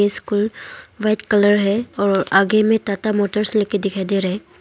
School white colour है और आगे में टाटा मोटर्स लिख के दिखाई दे रहा हैं।